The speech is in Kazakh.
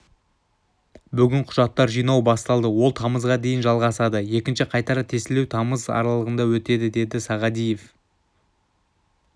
бүгін құжаттар жинау басталды ол тамызға дейін жалғасады екінші қайтара тестілеу тамыз аралығында өтеді деді сағадиев